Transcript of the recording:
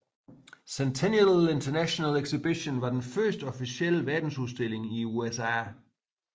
Centennial International Exhibition var den første officielle verdensudstilling i USA